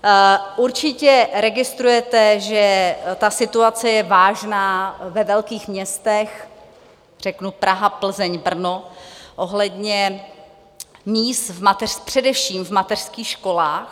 Určitě registrujete, že ta situace je vážná ve velkých městech, řeknu Praha, Plzeň, Brno, ohledně míst především v mateřských školách.